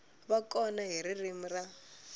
va kona hi ririmi ra